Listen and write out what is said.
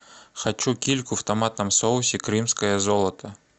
хочу кильку в томатном соусе крымское золото